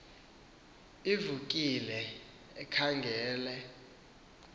ivulekile khangele kwcala